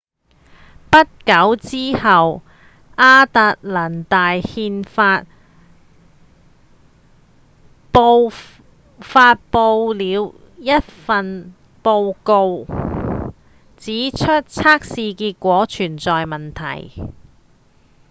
不久之後亞特蘭大憲法報發布了一份報告指出測試結果存在問題